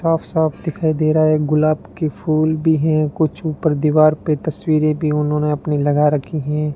साफ साफ दिखाई दे रहा है गुलाब के फूल भी हैं कुछ ऊपर दीवार पे तस्वीरें भी उन्होंने अपनी लगा रखी हैं।